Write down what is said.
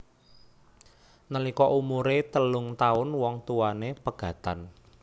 Nalika umuré telung taun wong tuwané pegatan